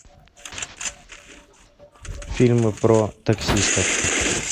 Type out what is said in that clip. фильмы про таксистов